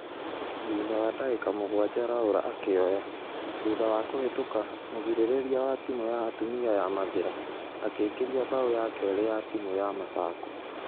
Thutha wa dagĩka mũgwaja laura akĩoya ......thutha wa kũhĩtoka mũgirereria wa timu ya atumia ya mathĩra akĩingĩria bao ya keri ya timũ ya masaku.